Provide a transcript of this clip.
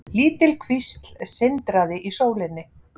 Lítil kvísl sindraði í sólinni.